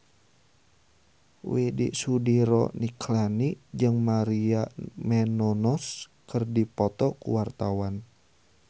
Widy Soediro Nichlany jeung Maria Menounos keur dipoto ku wartawan